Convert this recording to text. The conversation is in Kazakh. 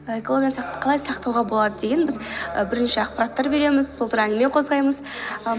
экологияны қалай сақтауға болады деген біз і бірінші ақпараттар береміз сол туралы әңгіме қозғаймыз і